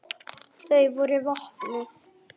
Þau voru vopnuð.